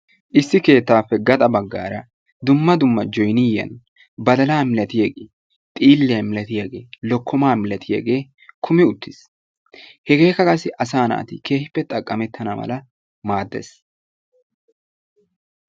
Issi keettappe gaxxa baggaara dumma dumma joyniyaa badaalaa milatiyage xiilliyaa milaatiyaagee lokkomaa milaatiyage kumi uttiis. Hegeekka qassi asaa naati keehippe go'ettana mala maadees.